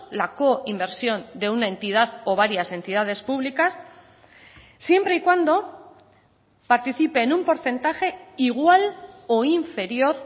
la coinversión de una entidad o varias entidades públicas siempre y cuando participe en un porcentaje igual o inferior